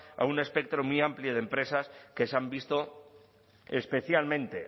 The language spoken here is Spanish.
a un espectro muy amplio de empresas que se han visto especialmente